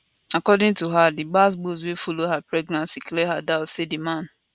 according to her di gbas gbos wey follow her pregnancy clear her doubt say di man